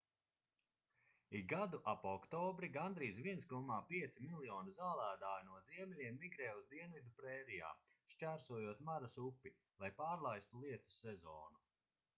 ik gadu ap oktobri gandrīz 1,5 miljoni zālēdāju no ziemeļiem migrē uz dienvidu prērijām šķērsojot maras upi lai pārlaistu lietus sezonu